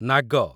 ନାଗ